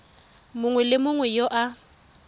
mongwe le mongwe yo a